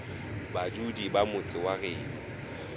badudi ba motse wa geno